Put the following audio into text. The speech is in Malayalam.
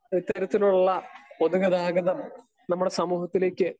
സ്പീക്കർ 2 ഇത്തരത്തിലുള്ള പൊതുഗതാഗതം നമ്മുടെ സമൂഹത്തിലേക്ക്